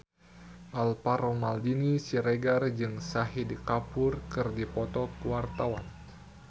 Alvaro Maldini Siregar jeung Shahid Kapoor keur dipoto ku wartawan